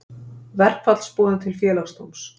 Verkfallsboðun til félagsdóms